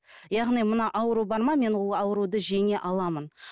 яғни мына ауру бар ма мен ол ауруды жеңе аламын